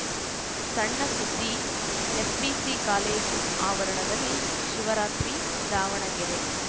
ಸಣ್‌ ಸುದ್ದಿ SBC college ಆವರಣದಲ್ಲಿ ಶಿವರಾತ್ರಿ ದಾವಣಗೆರೆ